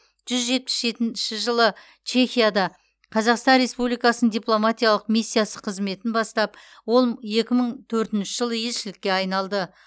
жүз жетпіс жетінші жылы чехияда қазақстан республикасының дипломатиялық миссиясы қызметін бастап ол екі мың төртінші жылы елшілікке айналды